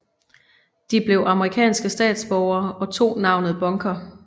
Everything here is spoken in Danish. De blev amerikanske statsborgere og tog navnet Bunker